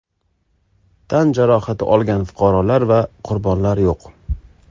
Tan jarohati olgan fuqarolar va qurbonlar yo‘q.